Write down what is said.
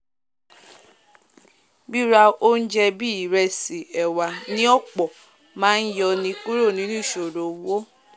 ríra óúnje bíi ìresì ẹ̀wà ní ọ̀pọ̀ máá yọ ni kúrò nínú ìsòro owó